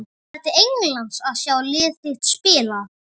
Hefur þú farið til Englands að sjá lið þitt spila?